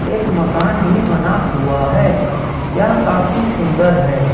एक मकान भी बना हुआ है यह काफी सुंदर है।